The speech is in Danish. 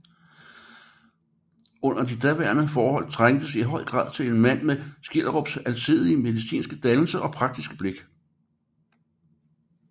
Under de daværende forhold trængtes i høj grad til en mand med Skjelderups alsidige medinske dannelse og praktiske blik